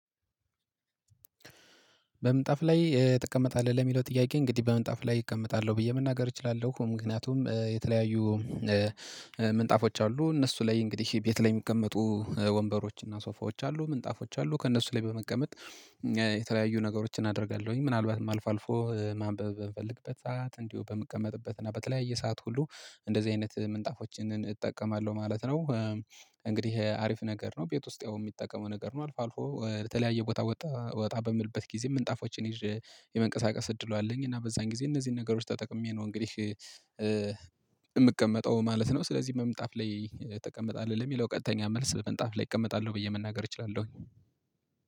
በምንጣፍ ላይ ትቀመጣለህ? ለሚለው ጥያቄ እንግዲህ በምንጣፍ ላይ እቀመጣለሁ ብዬ መናገር እችላለሁ ምክንያቱም የተለያዩ ምንጣፎች አሉ እነሱ ላይ እንግዲህ ቤት ላይ የሚቀመጡ ወንበሮች ሶፋዎች አሉ ምንጣፎች አሉ ከእነሱ ላይ በመቀመጥ የተለያዩ ነገሮችን አደርጋለሁኝ ምናልባትም አልፋልፎ ማንበብ በምፈለግበት ሰዓት እንዲሁ በምቀመጥበት እና በተለያየ ሰዓት ሁሉ እንደዚህ አይነት ምንጣፎችን እጠቀማለሁ ማለት ነው። እንግዲህ አሪፍ ነገር ነው ቤት ውስጥ ያው የሚጠቀመው ነገር ነው። አልፎ አልፎ የተለያየ ቦታ ወጣ በምልበት ጊዜ ምንጣፎቼን ይዤ የመንቀሳቀስ እድሉ አለኝ እና በዛን ጊዜ እነዚህን ነገሮች ተጠቅሜ ነው እንግዲህ እምቀመጠው ማለት ነው። ስለዚህ በመምጣፍ ላይ ትቀመጣለህ ለሚለው ቀጥተኛ መልስ ምጣፍ ላይ እቀመጣለሁ ብዬ መናገር እችላለሁ